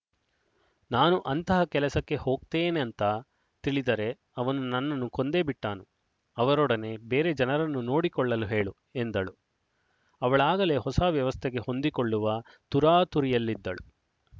ನಾನು ಅಂತಹ ಕೆಲಸಕ್ಕೆ ಹೋಗ್ತೇನೇಂತ ತಿಳಿದರೆ ಅವನು ನನ್ನನ್ನು ಕೊಂದೇ ಬಿಟ್ಟಾನು ಅವರೊಡನೆ ಬೇರೆ ಜನರನ್ನು ನೋಡಿಕೊಳ್ಳಲು ಹೇಳು ಎಂದಳು ಅವಳಾಗಲೇ ಹೊಸ ವ್ಯವಸ್ಥೆಗೆ ಹೊಂದಿಕೊಳ್ಳುವ ತುರಾತುರಿಯಲ್ಲಿದ್ದಳು